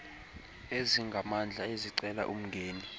ezingamandla ezicela umngeni